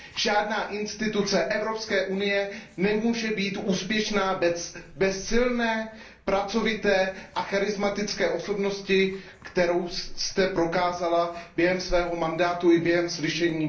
Žádná instituce Evropské unie nemůže být úspěšná bez silné, pracovité a charizmatické osobnosti, kterou jste prokázala během svého mandátu i během slyšení.